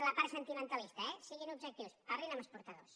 la part sentimentalista eh siguin objectius parlin amb exportadors